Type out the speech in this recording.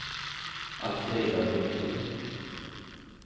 Alfrida Hultgren